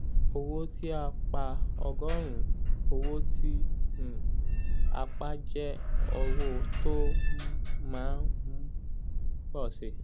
owó tí a pa ọgọ́rùn-ún owó tí um a pa jẹ́ owó tó um má um ń pọ̀ síi.